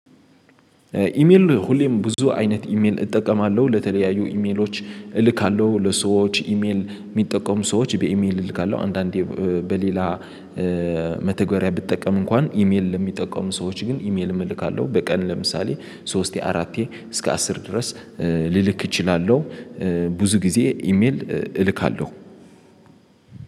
ኢሜል ሁሌም ብዙ አይነት ኢሜል እጠቀማለሁ ለተለያዩ ኢሜሎች እልካለሁ ለሰዎች ኢሜል የሚጠቀሙ ሰዎች በኢሜል እልካለሁ አንዳንዴ በሌላ መተግበሪያ ብትጠቀም እንኳን ኢሜል ለሚጠቀሙ ሰዎች ግን ኢሜል እልካለሁ በቀን ለምሳሌ ሶስት የአራት የእስከ አስር ድረስ ልልክ እችላለሁ። ብዙ ጊዜ ኢሜል እልካለሁ።